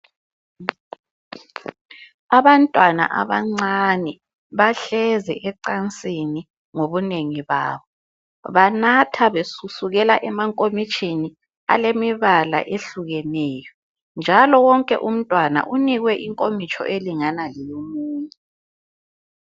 abantwana abancane bahlezi ecansini ngobunengi babo banatha besukela emankomitshini alemibala ehlukeneyo njalo wonke umntwana unikwe inkomitsho elingana leyomunye